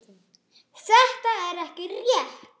Þetta er ekki rétt.